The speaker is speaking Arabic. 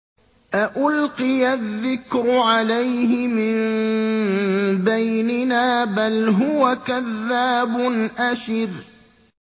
أَأُلْقِيَ الذِّكْرُ عَلَيْهِ مِن بَيْنِنَا بَلْ هُوَ كَذَّابٌ أَشِرٌ